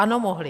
Ano, mohli.